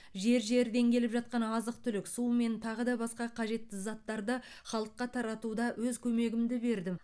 жер жерден келіп жатқан азық түлік су мен тағы да басқа қажетті заттарды халыққа таратуда өз көмегімді бердім